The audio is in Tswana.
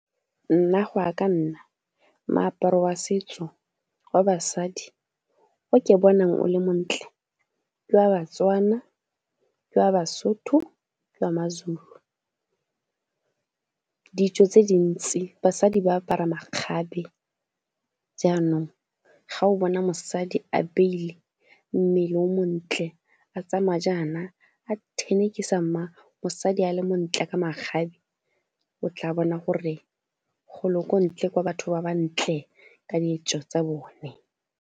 Nna go ya ka nna moaparo wa setso wa basadi o ke bonang o le montle ke wa Batswana, ke wa Basotho, ke wa maZulu. Ditso tse dintsi basadi ba apara makgabe jaanong ga o bona mosadi a beile mmele o montle, a tsamaya jaana a thenekisa mma, mosadi a le montle ka makgabe o tla bona gore golo kwa ntle kwa, batho ba ba ntle ka ditso tsa bone.